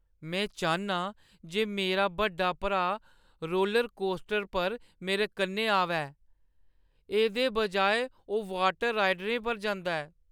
में चाह्न्नां जे मेरा बड्डा भ्राऽ रोलरकोस्टर पर मेरे कन्नै आवै। एह्दे बजाए ओह् वाटर राइडें पर जंदा ऐ।